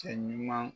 Cɛ ɲuman